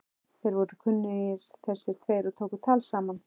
Þeir voru kunnugir þessir tveir og tóku tal saman.